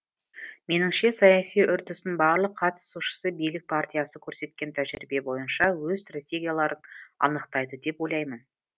меніңше саяси үрдістің барлық қатысушысы билік партиясы көрсеткен тәжірибе бойынша өз стратегияларын анықтайды деп ойлаймын